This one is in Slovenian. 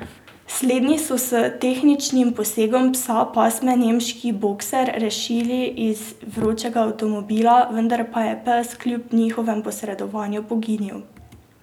Slednji so s tehničnim posegom psa pasme nemški bokser rešili iz vročega avtomobila, vendar pa je pes kljub njihovemu posredovanju poginil.